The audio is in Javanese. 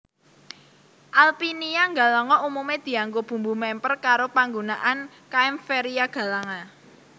Alpinia galanga umumé dianggo bumbu mèmper karo panggunaan Kaempferia galanga